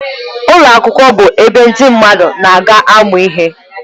Ụlọ akwụkwọ bụ ebe ndị mmadụ na-aga amụ ihe.